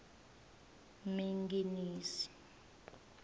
minginisi